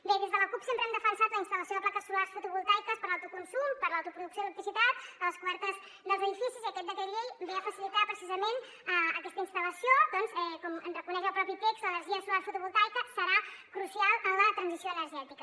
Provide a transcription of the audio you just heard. bé des de la cup sempre hem defensat la instal·lació de plaques solars fotovoltaiques per a l’autoconsum per a l’autoproducció d’electricitat a les cobertes dels edificis i aquest decret llei ve a facilitar precisament aquesta instal·lació doncs com reconeix el propi text l’energia solar fotovoltaica serà crucial en la transició energètica